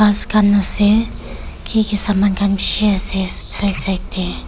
Ghas khan ase kiki saman khan beshi ase side side deh.